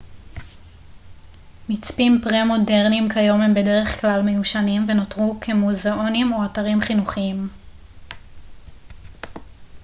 מצפים פרה-מודרניים כיום הם בדרך כלל מיושנים ונותרו כמוזאונים או אתרים חינוכיים